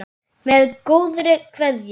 Með góðri kveðju.